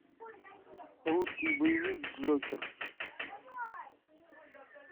русский боевик джокер